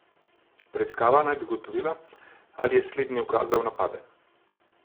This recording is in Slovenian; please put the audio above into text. Preiskava naj bi ugotovila, ali je slednji ukazal napade.